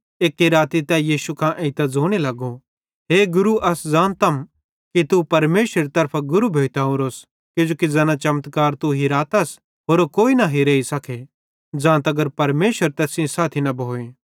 एक्की राती तै यीशु कां एइतां ज़ोने लगो हे गुरू अस ज़ानतम कि तू परमेशरेरी तरफां गुरू भोइतां ओरोस किजोकि ज़ैना चमत्कार तू हेरातस होरो कोई न हेरेई सके ज़ां तगर परमेशर तैस सेइं साथी न भोए